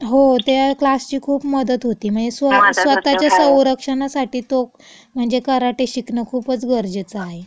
हो. त्या क्लासची खूप मदत होती. म हे स्वतःच्या संरक्षणासाठी तो म्हणजे कराटे शिकणं खुपच गरजेचं आहे. मदत होते, हो.